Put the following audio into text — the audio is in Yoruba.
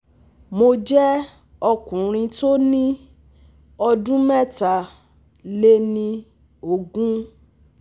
Mo jẹ́ ọkùnrin tó ní ọdún mẹ́ta lé ní ogún